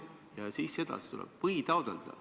Ja siis edasi tuleb: ... või taotleda ...